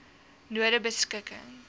nonebeskikking